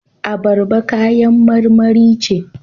Abarba kayan marmari ce.